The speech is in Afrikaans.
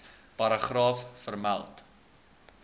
paragraaf vermeld